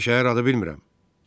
Mən belə şəhər adı bilmirəm.